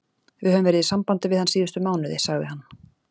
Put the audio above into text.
Við höfum verið í sambandi við hann síðustu mánuði, sagði hann.